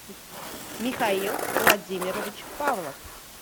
михаил владимирович павлов